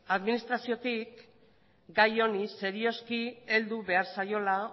administraziotik gai honi serioski heldu behar zaiola